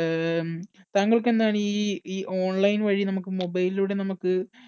അഹ് താങ്കൾക്ക് എന്താണ് ഈ ഈ online വഴി നമുക്ക് mobile ലൂടെ നമുക്ക്